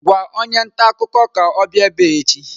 Gwa onye ntaakụkọ ka ọ bịa ebe a echi!